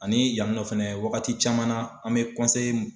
Ani yanni nɔ fɛnɛ wagati caman na an mɛ mun